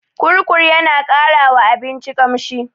Kurkur yana ƙara wa abinci ƙamshi.